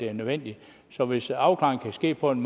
er nødvendigt så hvis afklaringen kan ske på en